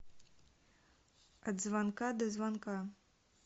от звонка до звонка